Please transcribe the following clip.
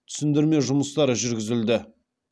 түсіндірме жұмыстары жүргізілді